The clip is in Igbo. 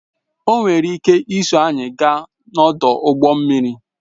O nwere ike iso anyị gaa n'ọdụ ụgbọ mmiri